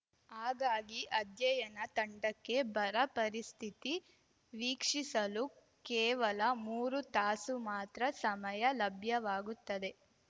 ಹಾಗಾಗಿ ಅಧ್ಯಯನ ತಂಡಕ್ಕೆ ಬರ ಪರಿಸ್ಥಿತಿ ವೀಕ್ಷಿಸಲು ಕೇವಲ ಮೂರು ತಾಸು ಮಾತ್ರ ಸಮಯ ಲಭ್ಯವಾಗುತ್ತದೆ